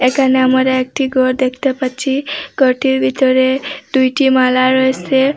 একানে আমারা একটি গর দেখতে পাচ্ছি গরটির ভিতরে দুইটি মালা রয়েসে।